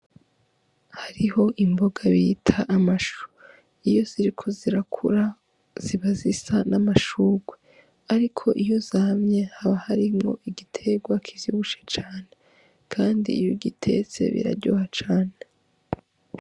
Hariho imboga bita amashu iyo ziriko zirakura ziba zisa n'amashurwe ,ariko iyo zamye haba harimwo igiterwa kivyibishe cane, kandi iy'ugitetse biraryoha cane.